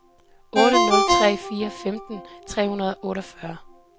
otte nul tre fire femten tre hundrede og otteogfyrre